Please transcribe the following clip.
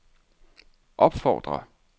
opfordrer